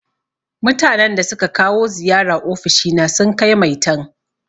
Mutanan da suka kawo ziyara ofishina sun kai maitan.